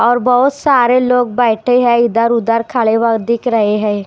और बहुत सारे लोग बैठे हैं इधर उधर खड़े हुए दिख रहे हैं।